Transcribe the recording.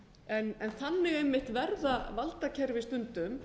á íslandi þannig einmitt verða valdakerfi stundum